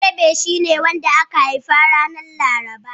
Balarabe shi ne wanda aka haifa ranar Laraba.